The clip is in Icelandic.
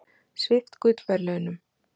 Svipt gullverðlaunum